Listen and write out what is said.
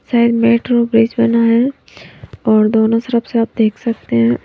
शायद metro bridge बना है और दोनों तरफ से आप देख सकते हैं।